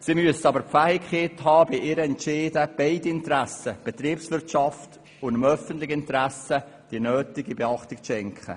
Sie müssen aber die Fähigkeit besitzen, bei ihren Entscheiden dem öffentlichen ebenso wie dem betriebswirtschaftlichen Interesse die nötige Beachtung zu schenken.